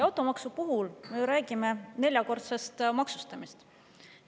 Automaksu puhul me räägime ju neljakordsest maksustamisest.